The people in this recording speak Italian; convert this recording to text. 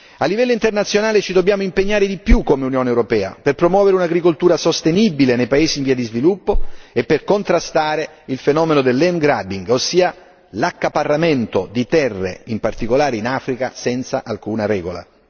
A livello internazionale ci dobbiamo impegnare di più come Unione europea per promuovere un'agricoltura sostenibile nei paesi in via di sviluppo e per contrastare il fenomeno del land grabbing ossia l'accaparramento di terre in particolare in Africa, senza alcuna regola.